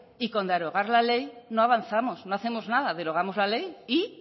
y con derogar la ley no avanzamos no hacemos nada derogamos la ley y